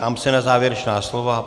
Ptám se na závěrečná slova.